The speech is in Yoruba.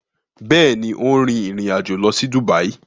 Bẹẹni, o n rin ìrìn-àjò lọ si Dubai